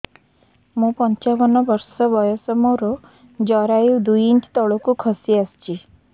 ମୁଁ ପଞ୍ଚାବନ ବର୍ଷ ବୟସ ମୋର ଜରାୟୁ ଦୁଇ ଇଞ୍ଚ ତଳକୁ ଖସି ଆସିଛି